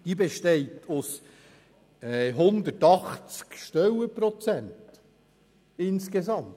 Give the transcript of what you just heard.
Die Fachstelle besteht insgesamt aus 180 Stellenprozenten.